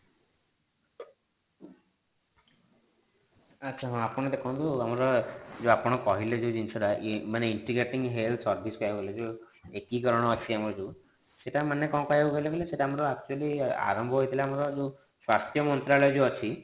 ଆଚ୍ଛା ହଁ ଆପଣ ଦେଖନ୍ତୁ ଆମର ଯୋଉ ଆପଣ କହିଲେ ଯୋଉ ଜିନିଷ ଟା ମାନେ intiegrating health service କହିବାକୁ ଗଲେ ଯୋଉ ଏକୀକରଣ ଅଛି ଆମର ଯୋଉ ସେଟା ମାନେ କଣ କହିବାକୁ ଗଲେ କହିଲେ ସେଟା ଆମର actually ଆରମ୍ଭ ହେଇଥିଲା ଯୋଉ ଆମର ସ୍ୱାସ୍ଥ୍ୟ ମନ୍ତ୍ରାଳୟ ଯୋଉ ଆମର ଅଛି